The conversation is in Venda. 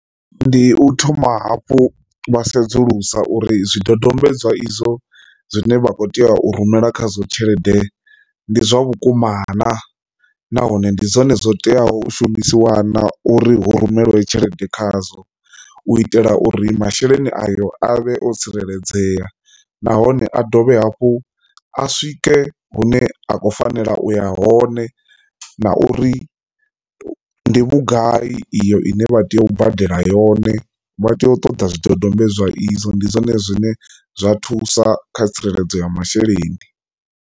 Ndi u thoma hafhu vha sedzulusa uri zwidodombedzwa izwo zwine vha kho tea u rumela khazwo tshelede ndi zwa vhukumana nahone ndi zwone zwo teaho shumisi wana uri hu rumelwe tshelede khazwo u itela uri masheleni ayo avhe o tsireledzea, nahone a dovhe hafhu a swike hune a khou fanela u ya hone na uri ndi vhugai iyo ine vha tea u badela yone vha tea u ṱoḓa zwidodombedzwa zwa izwo. Ndi zwone zwine zwa thusa kha tsireledzo ya masheleni.